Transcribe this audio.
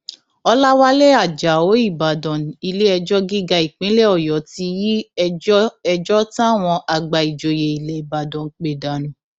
ọlàwálẹ ajáò ìbàdàn iléẹjọ gíga ìpínlẹ ọyọ ti yí ẹjọ ẹjọ táwọn àgbà ìjòyè ilẹ ìbàdàn pè dànù